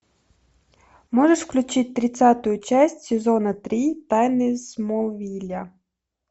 можешь включить тридцатую часть сезона три тайны смолвиля